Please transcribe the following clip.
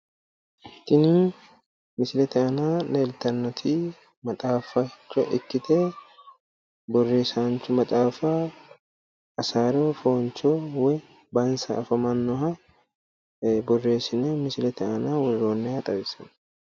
Tini misilete aana leeltannoti maxxaficho ikkite borreessaancho maxaafa hasaaro fooncho woyi bansa afamannoha borreessine misilete aana worroonniha xawissanno.